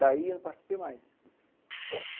Daí, eu não participei mais.